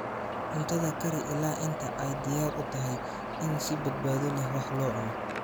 Cuntada kari ilaa inta ay diyaar u tahay in si badbaado leh wax loo cuno.